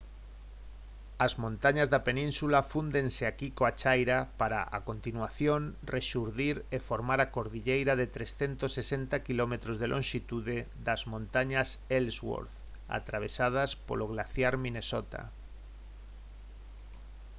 as montañas da península fúndense aquí coa chaira para a continuación rexurdir e formar a cordilleira de 360 km de lonxitude das montañas ellsworth atravesadas polo glaciar minnesota